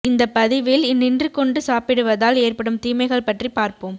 இந்த பதிவில் நின்று கொண்டு சாப்பிடுவதால் ஏற்படும் தீமைகள் பற்றி பார்ப்போம்